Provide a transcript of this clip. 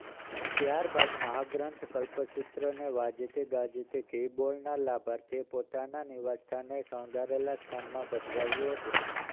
ત્યારબાદ મહાગ્રંથ કલ્પસૂત્રને વાજતે ગાજતે ઘી બોલનાર લાભાર્થી પોતાના નિવાસસ્થાને શણગારેલા સ્થાનમાં પધરાવ્યુ હતુ